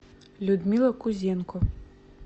людмила кузенко